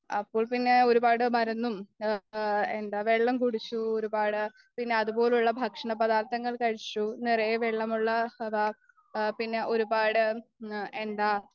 അപ്പോൾപിന്നെ ഒരുപാടു മരുന്നും എന്താ വെള്ളം കുടിച്ചു ഒരുപാട് പിന്നെ അതുപോലെയുള്ള ഭക്ഷണപദാർത്ഥങ്ങൾ കഴിച്ചു നിറയെ വെള്ള വെള്ള അതാ പിന്നെ ഒരുപാട് എന്താ